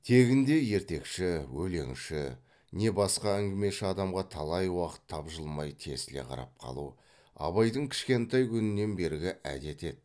тегінде ертекші өлеңші не басқа әңгімеші адамға талай уақыт тапжылмай тесіле қарап қалу абайдың кішкентай күнінен бергі әдеті еді